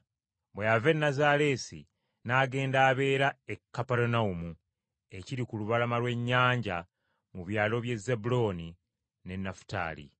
Bwe yava e Nazaaleesi n’agenda abeera e Kaperunawumu ekiri ku lubalama lw’ennyanja mu byalo by’e Zebbulooni n’e Nafutaali.